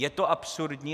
Je to absurdní?